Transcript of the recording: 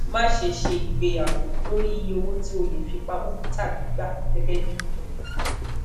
mase se igbeyawo lori iye owo ti o le fi pamo tabi gba gegebi ebun